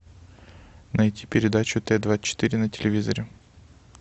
найти передачу т двадцать четыре на телевизоре